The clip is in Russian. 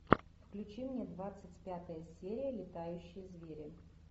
включи мне двадцать пятая серия летающие звери